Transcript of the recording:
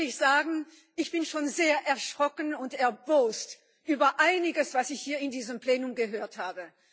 Ich muss ehrlich sagen Ich bin schon sehr erschrocken und erbost über einiges, was ich hier in diesem Plenum gehört habe.